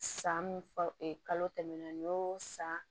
San min fa kalo tɛmɛnen y'o san